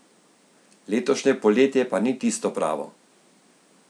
Letošnje poletje pa ni tisto pravo.